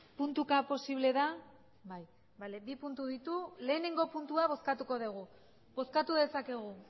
puntuka posible da bai bi puntu ditu lehenengo puntua bozkatuko dugu bozkatu dezakegu